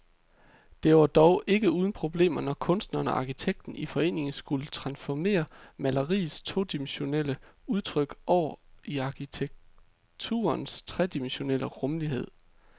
Det var dog ikke uden problemer, når kunstneren og arkitekten i forening skulle transformere maleriets todimensionelle udtryk over i arkitekturens tredimensionelle rumlighed.